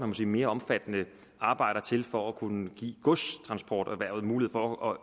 må sige mere omfattende arbejder til for at kunne give godstransporterhvervet mulighed for at